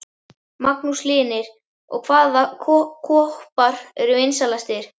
Magnús Hlynir: Og hvaða koppar eru vinsælastir?